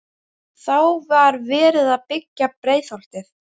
Þá var verið að byggja Breiðholtið.